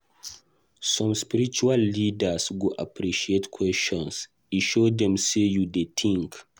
Some spiritual leaders go appreciate questions; e dey show say you dey think.